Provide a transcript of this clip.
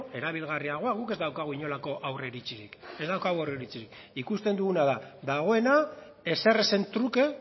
erabilgarriagoa guk ez daukagu inolako aurreiritzirik ez daukagu aurreiritzirik ikusten duguna da dagoena ezerezen truke